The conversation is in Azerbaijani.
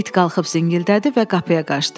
İt qalxıb zingildədi və qapıya qaçdı.